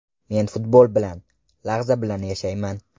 Men futbol bilan, lahza bilan yashayman.